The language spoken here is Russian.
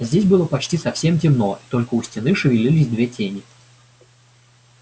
здесь было почти совсем темно и только у стены шевелились две тени